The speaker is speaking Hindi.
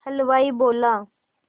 हलवाई बोला